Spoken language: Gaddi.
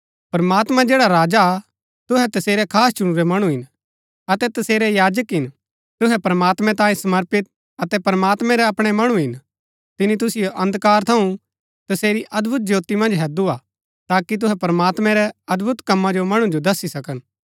प्रमात्मां जैड़ा राजा हा तुहै तसेरै खास चुणुरै मणु हिन अतै तसेरै याजक हिन तुहै प्रमात्मैं तांये समर्पित अतै प्रमात्मैं रै अपणै मणु हिन तिनी तुसिओ अंधकार थऊँ तसेरी अदभुत ज्योती मन्ज हैदु हा ताकि तुहै प्रमात्मैं रै अदभुत कमा जो मणु जो दस्सी सकन